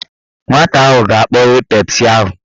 Nwata ahụ ga-akpọghe Pepsi ahụ.